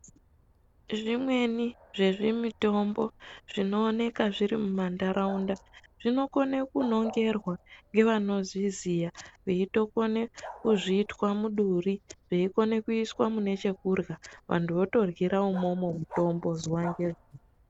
Zvimweni zvezvimitombo zvinooneka zviri mumantaraunda, zvinokone kunongorwa ngevanozviziya veitokone kuzvitwa muduri, zveikone kuiswe mune chekurhya vantu votorhyira umomo mutombo zuwa ngezuwa.